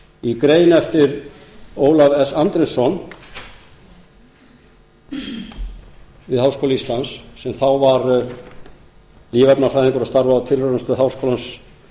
í grein eftir ólaf s andrésson við háskóla íslands sem þá var lífefnafræðingur og starfaði á tilraunastöð háskólans